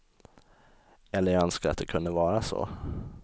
Eller jag önskar att det kunde vara så.